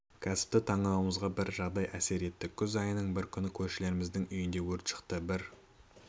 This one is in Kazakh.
кәсіпті таңдауымызға бір жағдай әсер етті күз айының бір күні көршілеріміздің үйінде өрт шықты бір